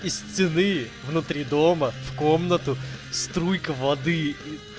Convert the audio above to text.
из стены внутри дома в комнату струйка воды